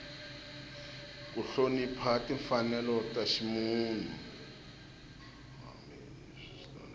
ku hlonipha timfanelo ta ximunhu